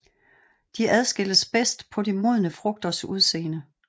De adskilles bedst på de modne frugters udseende